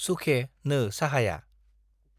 सुखे नो साहाया